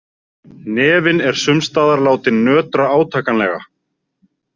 Hnefinn er sums staðar látinn nötra átakanlega.